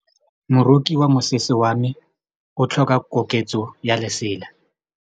Moroki wa mosese wa me o tlhoka koketsô ya lesela.